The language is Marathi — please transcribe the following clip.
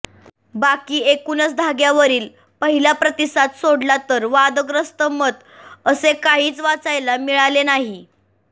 बाकी एकुणच धाग्यावरील पहिला प्रतिसाद सोडला तर वादग्रस्त मत असे काहीच वाचायला मिळाले नाही